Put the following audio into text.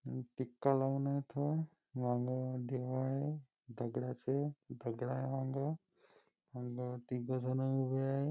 मी टीका लावून येतोय मांग देव आहे दगडाचे दगडं आहे मांग आन तिघजण उभे आहे.